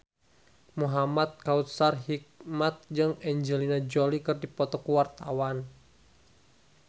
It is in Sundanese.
Muhamad Kautsar Hikmat jeung Angelina Jolie keur dipoto ku wartawan